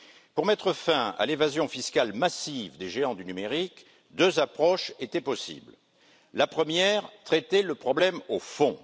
Pour mettre fin à l'évasion fiscale massive des géants du numérique, deux approches étaient possibles. La première traiter le problème au fond.